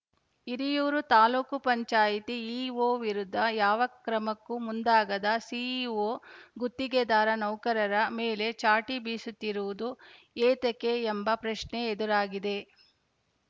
ಹಿರಿಯೂರು ತಾಲೂಕು ಪಂಚಾಯತಿ ಇಒ ವಿರುದ್ಧ ಯಾವ ಕ್ರಮಕ್ಕೂ ಮುಂದಾಗದ ಸಿಇಒ ಗುತ್ತಿಗೆದಾರ ನೌಕರರ ಮೇಲೆ ಚಾಟಿ ಬೀಸುತ್ತಿರುವುದು ಏತಕ್ಕೆ ಎಂಬ ಪ್ರಶ್ನೆ ಎದುರಾಗಿದೆ